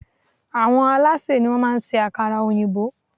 Àwọn alásè ni wón má a ń ṣe ákárà òyìnbó